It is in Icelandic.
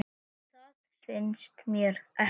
Það finnst mér ekki.